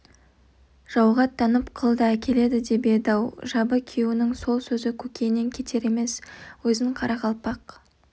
жауға аттанып құл да әкеледі деп еді-ау жабы күйеуінің сол сөзі көкейінен кетер емес өзін қарақалпақ